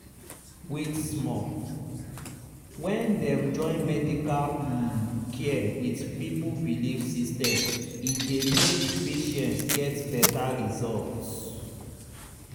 wait small — when dem join medical um care with people belief system e dey make patient get better result.